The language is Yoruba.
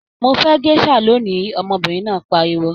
Mo fẹ gèsà lóni! ọmọbinrin náà pariwo.